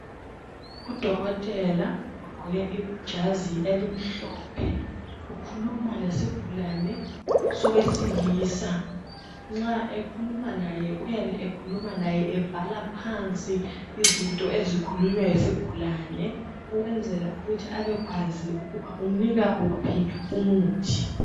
Udokotela ugqoke ijazi elimhlophe ukhuluma lesigulane sowesilisa nxa ekhuluma laye uyabe ekhuluma laye ebhala phansi izinto ezikhulunywa yisigulane ukwenzela ukuthi abekwazi umnika wuphi umuthi.